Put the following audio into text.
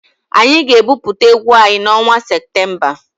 Anyị ga-ebupụta egwu anyị n'ọnwa Septemba.